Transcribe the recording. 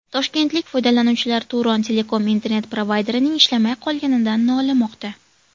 Toshkentlik foydalanuvchilar Turon Telecom internet-provayderining ishlamay qolganidan nolimoqda.